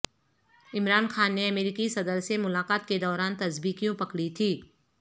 عمران خان نے امریکی صدر سے ملاقات کے دوران تسبیح کیوں پکڑی تھی